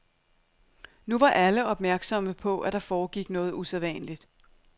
Nu var alle opmærksomme på, at der foregik noget usædvanligt.